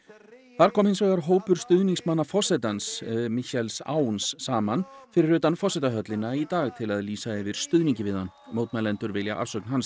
þar kom hins vegar hópur stuðningsmanna forsetans Michaels Aoun saman fyrir utan forsetahöllina í dag til að lýsa yfir stuðningi við hann mótmælendur vilja afsögn hans